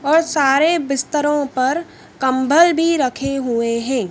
और सारे बिस्तरों पर कंबल भी रखे हुए हैं।